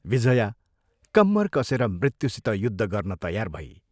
विजया कम्मर कसेर मृत्युसित युद्ध गर्न तयार भई।